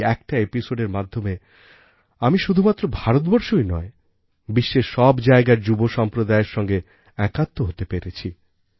এই একটা episodeএর মাধ্যমে আমি শুধুমাত্র ভারতবর্ষই নয় বিশ্বের সব জায়গার যুবসম্প্রদায়ের সঙ্গে একাত্ম হতে পেরেছি